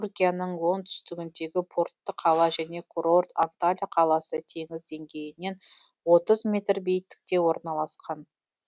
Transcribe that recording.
түркияның оң түстігіндегі портты қала және курорт анталия қаласы теңіз деңгейінен отыз метр биіктікте орналасқан